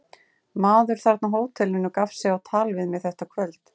Maður þarna á hótelinu gaf sig á tal við mig þetta kvöld.